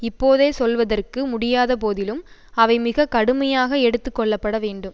இப்போதே சொல்வதற்கு முடியாத போதிலும் அவை மிக கடுமையாக எடுத்து கொள்ள பட வேண்டும்